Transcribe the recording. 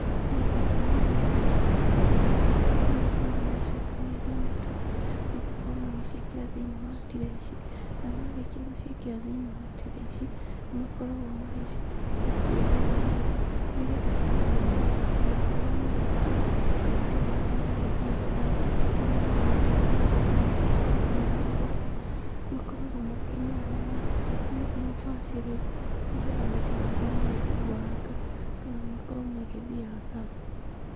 Harĩ bata mũnene mũno gwĩka ũndũ ũyũ, kũrĩa andũ makoragwo magĩcokanĩrĩria matumbĩ, magakorwo magĩciĩkĩra thĩinĩ wa turee ici, namarĩkia gũciĩkĩra thĩinĩ wa turee ici, nĩmakoragwo makĩoha mũno, nĩgetha kũgirĩrĩria matigakorwo magĩkua, na matigakorwo magĩthiĩ hathara rĩrĩa marakorwo magĩtwarwo thĩinĩ wa thoko, makoragwo makĩmoha ũũ na ũbacĩrĩru, nĩgetha matigakorwo magĩkuanga kana makorwo magĩthiĩ hathara.